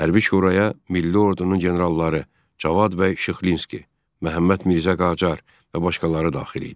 Hərbi şuraya milli ordunun generalları Cavad bəy Şıxlinski, Məhəmməd Mirzə Qacar və başqaları daxil idi.